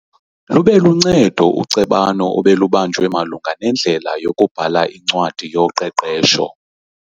Lube luncedo ucebano obelubanjwe malunga nendlela yokubhala incwadi yoqeqesho.